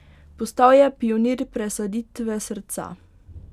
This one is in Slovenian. Postal je pionir presaditve srca.